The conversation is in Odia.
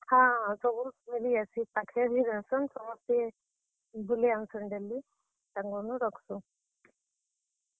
ହଁ, ସବୁ ମିଲିଯାଏସି, ଇ ପାଖେ ବି ରହେସନ୍ ସମସ୍ତେ ବୁଲେଇ ଆନସନ୍ daily ତାଙ୍କର୍ ନୁଁ ରଖସୁଁ।